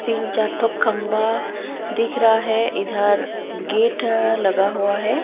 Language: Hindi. तीन चार तो खंबा दिख रहा है। इधर गेट लगा हुआ है।